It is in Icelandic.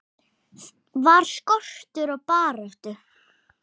Var skortur á baráttu?